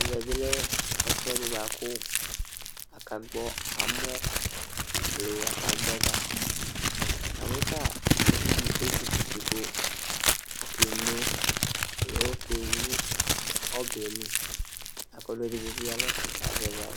ɛvɛ bi lɛ ɛfʋɛdi bʋa aka gbɔ amɔ alo aka gbɔ ɛga, namu ta uvi di ezukuti ku okeno alo ekewlu ɔbɛli la ku ɔlu edigbo bi ya nu ɛfɛ ku azɛvi awu